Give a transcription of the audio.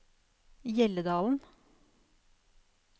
Hjelledalen